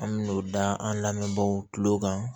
An me n'o da an lamɛnbaw kile kan